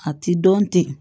A ti dɔn ten